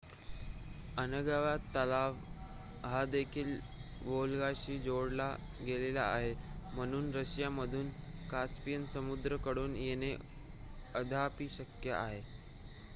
Onega तलाव हा देखील वोल्गाशी जोडला गेलेला आहे म्हणून रशिया मधून कास्पियन समुद्र कडून येणे अद्याप ही शक्य आहे